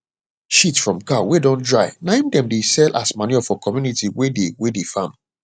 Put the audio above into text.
shit from cow wey dey don dry na him dem dey sell as manure for community wey dey wey dey farm